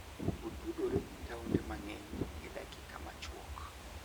Otudore gi taonde mang'eny e dakika machuok.